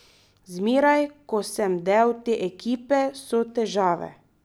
Zmeraj, ko sem del te ekipe, so težave.